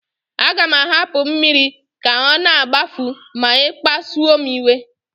Aga m ahapụ mmiri ka ọ na-agbafu ma ị kpasuo m iwe